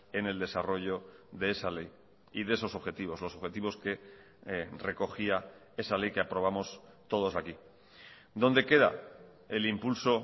en el desarrollo de esa ley y de esos objetivos los objetivos que recogía esa ley que aprobamos todos aquí dónde queda el impulso